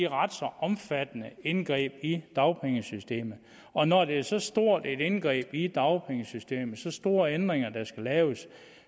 ret så omfattende indgreb i dagpengesystemet og når det er så stort et indgreb i dagpengesystemet så store ændringer der skal laves